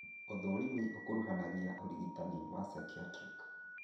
ũthũrimi ũkuruganagia ũrigitani wa psychiatric